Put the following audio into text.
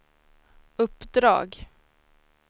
uppdrag